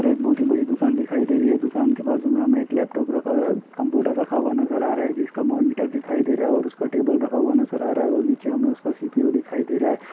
यहाँ पर एक बहुत ही बड़ी दुकान दिखाई दे रही है दुकान के बाजु मैं हमे एक लैपटॉप रखा है कम्पुटर रखा हुआ नज़र आ रहा है जिसका मोनिटर दिखाई दे रहा है और उसका टेबल रखा हुआ नज़र आ रहा है और नीचे हमें उसका सी.पी.यु. दिखाई दे रहा है।